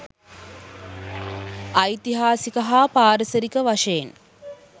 ඓතිහාසික හා පාරිසරික වශයෙන්